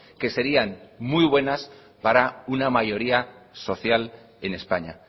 que serían muy buenas para una mayoría social en españa